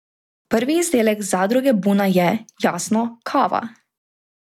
Prvi izdelek Zadruge Buna je, jasno, kava.